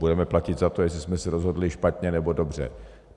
Budeme platit za to, jestli jsme se rozhodli špatně, nebo dobře.